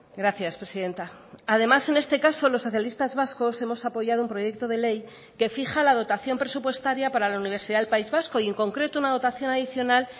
gracias presidenta además en este caso los socialistas vascos hemos apoyado un proyecto de ley que fija la dotación presupuestaria para la universidad del país vasco y en concreto una dotación adicional